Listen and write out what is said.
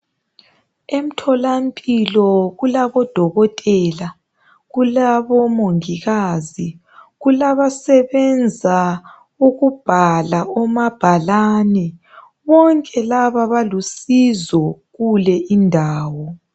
Emtholampilo kulabodokotela, kulabomongikazi, kulabasebenza ukubhala omabhalani .Bonke laba balusizo kulindawo.